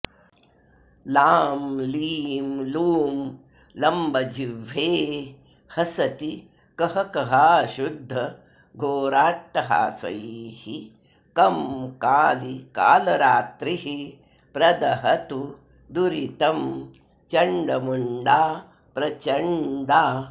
लां लीं लूं लम्बजिह्वे हसति कहकहाशुद्ध घोराट्टहासैः कं काली कालरात्रिः प्रदहतु दुरितं चण्डमुण्डा प्रचण्डा